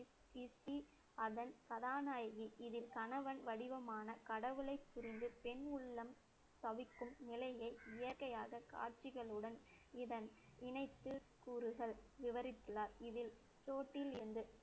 அதன் கதாநாயகி இதில் கணவன் வடிவமான கடவுளை பிரிந்து பெண் உள்ளம் தவிக்கும் நிலையை இயற்கையாக காட்சிகளுடன் இதன் இணைத்து கூறுகள் விவரித்துள்ளார். இதில்